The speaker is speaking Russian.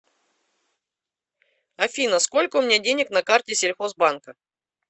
афина сколько у меня денег на карте сельхозбанка